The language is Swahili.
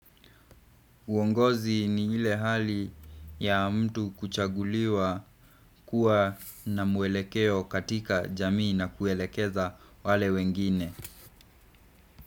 Uongozi ni ile hali ya mtu kuchaguliwa kuwa na mwelekeo katika jamii na kuelekeza wale wengine.